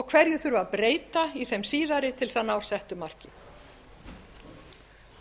og hverju þurfi að breyta í þeim síðari til þess að ná settu marki